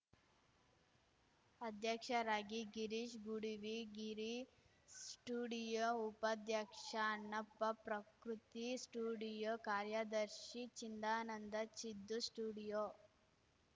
ಅಧ್ಯಕ್ಷರಾಗಿ ಗಿರೀಶ್‌ ಗುಡವಿ ಗಿರಿ ಸ್ಟುಡಿಯೋ ಉಪಾಧ್ಯಕ್ಷ ಅಣ್ಣಪ್ಪ ಪ್ರಕೃತಿ ಸ್ಟುಡಿಯೋ ಕಾರ್ಯದರ್ಶಿ ಚಿಂದಾನಂದ ಚಿದ್ದು ಸ್ಟುಡಿಯೋ